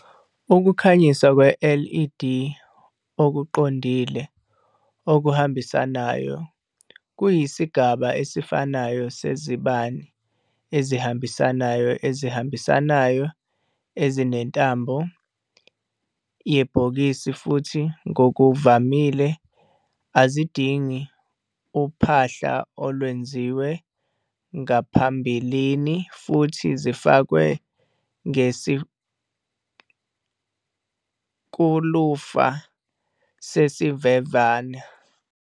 Ukukhanyisa kwe-led okuqondile okuhambisanayo kuyisigaba esifanayo sezibani ezihambisanayo ezihambisanayo ezinentambo Yebhokisi futhi ngokuvamile azidingi uphahla olwenziwe ngaphambilini futhi zifakwe ngesikulufa sesimvemvane.